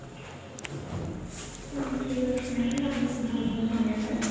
ହଁ ଠିକ ଅଛି madam ଆପଣଙ୍କୁ ବହୁତ ବହୁତ ଧନ୍ୟବାଦ